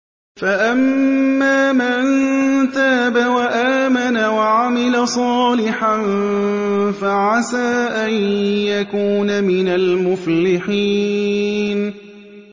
فَأَمَّا مَن تَابَ وَآمَنَ وَعَمِلَ صَالِحًا فَعَسَىٰ أَن يَكُونَ مِنَ الْمُفْلِحِينَ